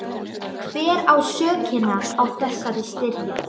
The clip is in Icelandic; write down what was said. Hver á sökina á þessari styrjöld?